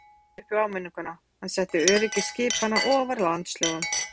Ræðismaðurinn kippti sér lítt upp við áminninguna, hann setti öryggi skipanna ofar landslögum.